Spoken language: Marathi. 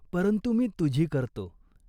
परंतु मी तुझी करतो.